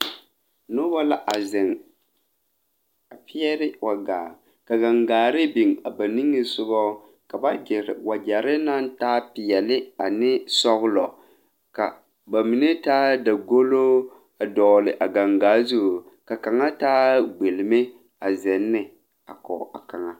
Nobɔ la a zeŋ a pɛɛre wa gaa ka gaŋgaare biŋ ba niŋesugɔ ka ba gyire wagyɛre naŋ taa peɛle ne sɔglɔ ka ba mine taa dagolo a dɔgle a gaŋaa zu ka kaŋa taa gbelme a zeŋ ne a kɔge a kaŋa.